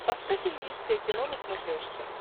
поставь индийское кино на смотрешке